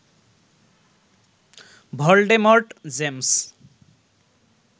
Voldemort James